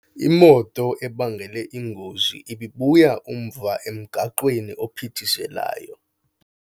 Imoto ebangele ingozi ibibuya umva emgaqweni ophithizelayo.